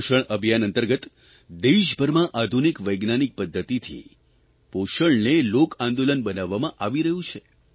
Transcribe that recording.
પોષણ અભિયાન અંતર્ગત દેશભરમાં આધુનિક વૈજ્ઞાનિક પદ્ધતિથી પોષણને લોક આંદોલન બનાવવામાં આવી રહ્યું છે